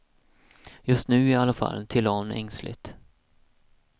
Just nu iallafall, tillade hon ängsligt.